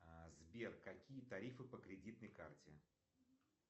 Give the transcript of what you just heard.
сбер какие тарифы по кредитной карте